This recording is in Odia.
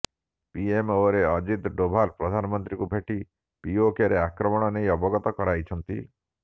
ପିଏମଓରେ ଅଜିତ୍ ଡୋଭାଲ ପ୍ରଧାନମନ୍ତ୍ରୀଙ୍କୁ ଭେଟି ପିଓକେରେ ଆକ୍ରମଣ ନେଇ ଅବଗତ କରାଇଛନ୍ତି